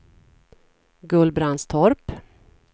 Gullbrandstorp